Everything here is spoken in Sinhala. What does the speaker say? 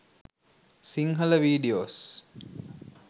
sinhala videos